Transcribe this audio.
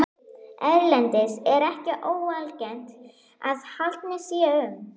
Erlendis er ekki óalgengt að haldnir séu um